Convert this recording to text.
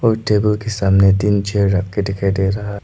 और टेबल के सामने तीन चेयर रख के दिखाई दे रहा--